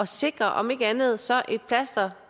sikre om ikke andet så et plaster